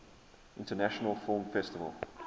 international film festival